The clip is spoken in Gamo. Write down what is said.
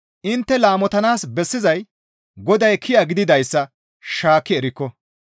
Intte laamotanaas bessizay Goday kiya gididayssa shaakki erikko.